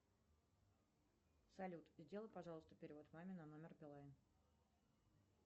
салют сделай пожалуйста перевод маме на номер билайн